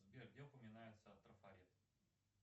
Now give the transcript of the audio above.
сбер где упоминается трафарет